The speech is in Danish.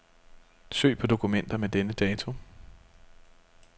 Søg på dokumenter med denne dato.